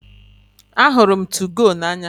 Ahụrụ m 2go n'anya